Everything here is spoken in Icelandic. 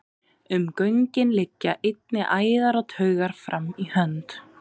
Um göngin liggja einnig æðar og taugar fram í hönd.